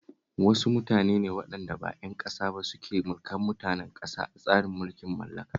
Wasu mutane ne waɗanda ba ƴan ƙasa ba suke mulkar mutanen ƙasa a tsarin mulkin mallaka